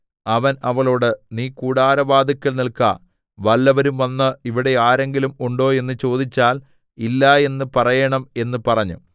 അവൻ അവളോട് നീ കൂടാരവാതിൽക്കൽ നിൽക്ക വല്ലവരും വന്ന് ഇവിടെ ആരെങ്കിലും ഉണ്ടോ എന്ന് ചോദിച്ചാൽ ഇല്ല എന്ന് പറയേണം എന്ന് പറഞ്ഞു